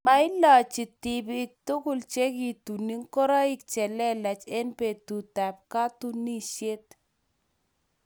mailochi tibik tugul chekituni ngoroik che lelach eng' betutab katunisiet.